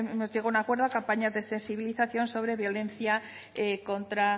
hemos llegado a un acuerdo campañas de sensibilización sobre violencia contra